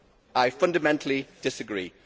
I fundamentally disagree.